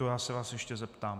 To já se vás ještě zeptám.